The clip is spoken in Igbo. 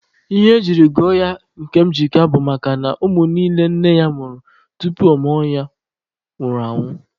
Ihe ejiri gụọ ya Nkemjika bụ makana ụmụ niile nne ya mụrụ tupu a mụọ ya nwụrụ anwụ.